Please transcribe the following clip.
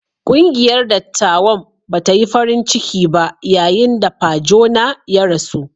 Ƙungiyar dattawan ba ta yi farin ciki ba yayin da Pa Jona ya rasu.